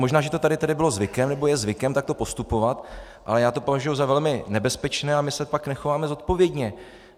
Možná, že to tady bylo zvykem, nebo je zvykem takto postupovat, ale já to považuji za velmi nebezpečné a my se pak nechováme zodpovědně.